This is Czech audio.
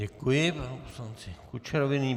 Děkuji panu poslanci Kučerovi.